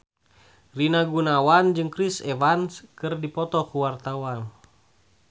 Rina Gunawan jeung Chris Evans keur dipoto ku wartawan